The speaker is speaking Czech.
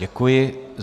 Děkuji.